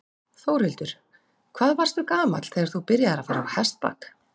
Þórhildur: Hvað varstu gamall þegar þú byrjaðir að fara á hestbak?